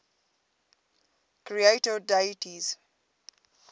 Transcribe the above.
creator deities